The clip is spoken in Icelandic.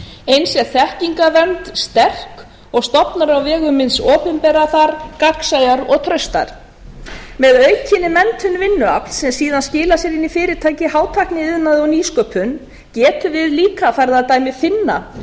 eins er setningavernd sterk og stofnar á vegum hins opinbera gagnsæir og traustir með aukinni menntun vinnuafls sem síðan skilar sér inn í fyrirtæki í hátækniiðnaði og nýsköpun getum við líka farið að dæmi finna